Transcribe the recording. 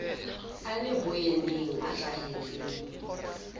a le boyeneng a hlaheletse